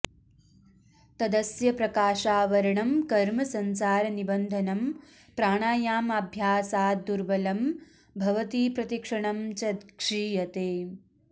तदस्य प्रकाशावरणं कर्म संसारनिबन्धनं प्राणायामाभ्यासाद्दुर्बलं भवति प्रतिक्षणं च क्षीयते